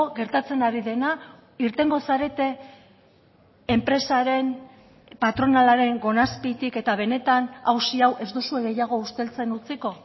gertatzen ari dena irtengo zarete enpresaren patronalaren gona azpitik eta benetan auzi hau ez duzue gehiago usteltzen utziko